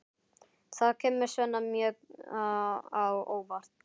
Það kemur Svenna mjög á óvart.